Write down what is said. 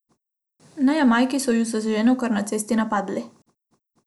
Na Jamajki so ju z ženo kar na cesti napadli.